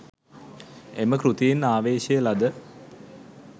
එම කෘතියෙන් ආවේශය ලද